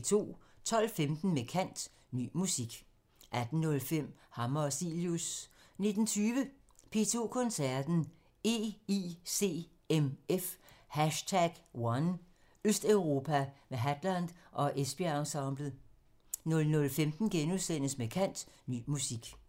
12:15: Med kant – Ny musik 18:05: Hammer og Cilius 19:20: P2 Koncerten – EICMF #1: Østeuropa med Hadland og Esbjerg Ensemblet 00:15: Med kant – Ny musik *